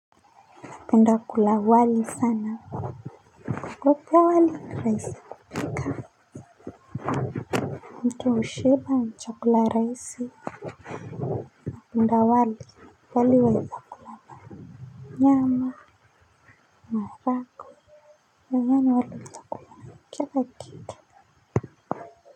Penda kula wali sana kukopoa wali ni rahisi kupika mtu hushiba na chakula rahisi napenda wali pale waweza kula na nyama maharagwe nadhani wali utakula na kila kitu.